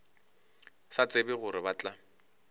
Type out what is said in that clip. sa tsebe gore ba tla